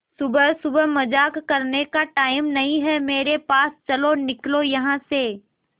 सुबह सुबह मजाक करने का टाइम नहीं है मेरे पास चलो निकलो यहां से